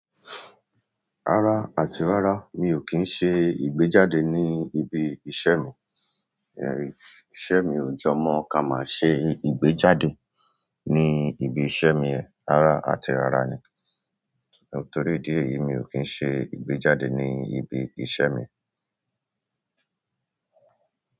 Rárá àti rárá, mi ò kí ń ṣe ìgbéjáde ní ibi iṣẹ́ mi. Iṣẹ́ mi ò jo mọ́ ká máa ṣe ìgbéjáde ní ibi iṣẹ́ mi yẹn. Rárá àti rárá ni. Torí idi èyí mi o kin se ìgbéjáde ni ibi iṣẹ́ mi.